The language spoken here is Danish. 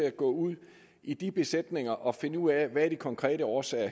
at gå ud i de besætninger og finde ud af hvad de konkrete årsager